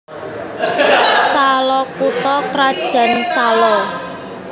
Salo kutha krajan Salo